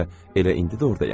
Bəlkə elə indi də ordayam.